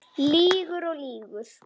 Lýgur og lýgur.